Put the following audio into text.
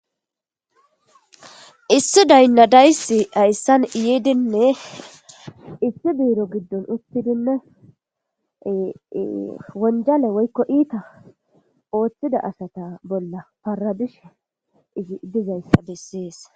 Issi daynnadayssi hayssan yeedinne issi buiro giddon uttidinne wonjale woykko iita ooththida asata bolla parabishe izi dizayssa bessees.